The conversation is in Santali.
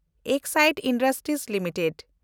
Exide Industries limited